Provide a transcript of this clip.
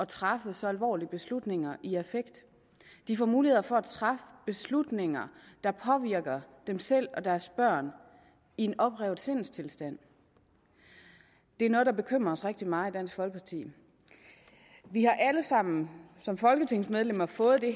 træffe så alvorlige beslutninger i affekt de får mulighed for at træffe beslutninger der påvirker dem selv og deres børn i en oprevet sindstilstand det er noget der bekymrer os rigtig meget i dansk folkeparti vi har alle sammen som folketingsmedlemmer fået de